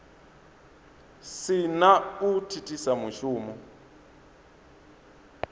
si na u thithisa mushumo